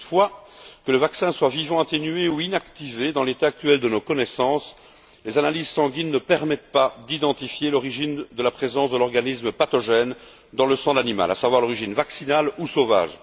Toutefois, que le vaccin soit vivant atténué ou inactivé, dans l'état actuel de nos connaissances, les analyses sanguines ne permettent pas d'identifier l'origine de la présence de l'organisme pathogène dans le sang de l'animal, à savoir l'origine vaccinale ou sauvage.